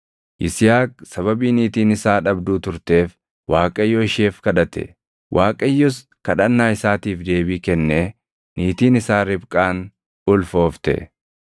Yisihaaq sababii niitiin isaa dhabduu turteef Waaqayyo isheef kadhate. Waaqayyos kadhannaa isaatiif deebii kennee niitiin isaa Ribqaani ulfoofte.